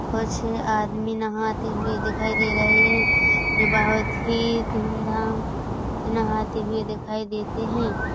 कुछ आदमी नहाते हुए दिखाई दे रहे है जो बहुत ही धूम धाम से नहाते हुए दिखाई देते हैं।